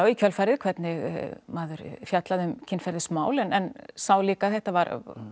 kjölfarið hvernig maður fjallaði um kynferðismál en sá líka að þetta var